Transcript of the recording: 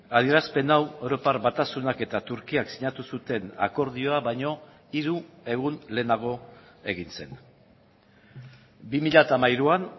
adierazpen hau europar batasunak eta turkiak sinatu zuten akordioa baino hiru egun lehenago egin zen bi mila hamairuan